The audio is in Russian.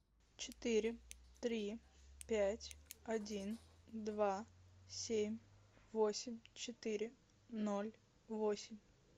четыре три пять один два семь восемь четыре ноль восемь